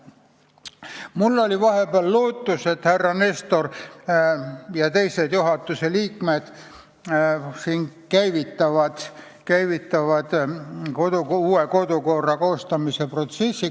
Mul oli vahepeal lootus, et Riigikogu esimees härra Nestor ja teised juhatuse liikmed käivitavad uue kodukorra koostamise protsessi.